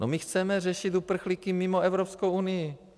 No my chceme řešit uprchlíky mimo Evropskou unii.